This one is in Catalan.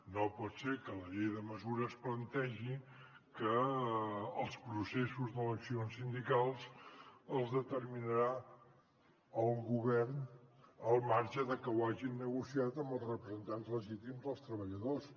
no pot ser que la llei de mesures plantegi que els processos d’eleccions sindicals els determinarà el govern al marge de que ho hagin negociat amb els representants legítims dels treballadors